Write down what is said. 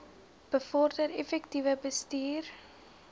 bevorder effektiewe bestuur